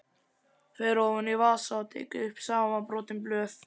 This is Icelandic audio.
Fer ofan í vasa og tekur upp samanbrotin blöð.